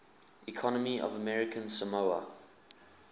economy of american samoa